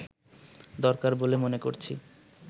দরকার বলে মনে করছি